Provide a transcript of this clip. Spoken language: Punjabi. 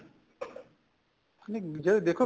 ਨੀ ਜੇ ਦੇਖੋ